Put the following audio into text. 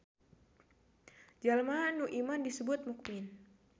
Jalma nu iman disebut mukmin.